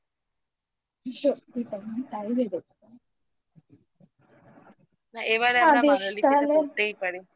না এবারে আমরা করতেই পারি